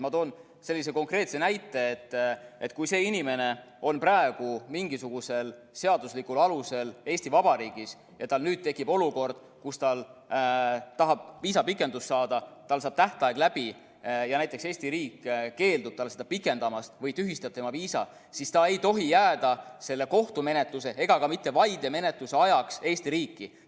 Ma toon sellise konkreetse näite, et kui see inimene on praegu mingisugusel seaduslikul alusel Eesti Vabariigis ja tal nüüd tekib olukord, kus ta tahab saada viisapikendust, tal saab tähtaeg läbi, ja näiteks Eesti riik keeldub seda pikendamast või tühistab tema viisa, siis ta ei tohi jääda selle kohtumenetluse ega ka mitte vaidemenetluse ajaks Eesti riiki.